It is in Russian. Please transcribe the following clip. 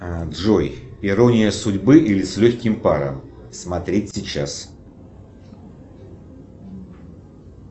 джой ирония судьбы или с легким паром смотреть сейчас